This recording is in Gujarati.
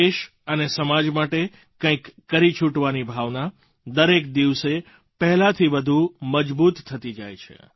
દેશ અને સમાજ માટે કંઈક કરી છૂટવાની ભાવના દરેક દિવસે પહેલાંથી વધુ મજબૂત થતી જાય છે